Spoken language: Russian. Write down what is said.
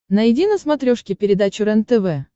найди на смотрешке передачу рентв